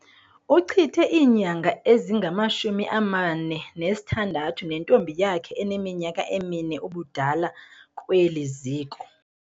Uchithe iinyanga ezingama-46 nentombi yakhe eneminyaka emine ubudala kweli ziko.